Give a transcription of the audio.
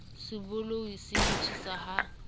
se bolou se ntshiwa ha